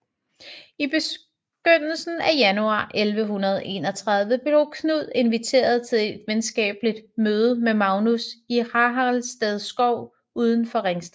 I begyndelsen af januar 1131 blev Knud inviteret til et venskabeligt møde med Magnus i Haraldsted Skov uden for Ringsted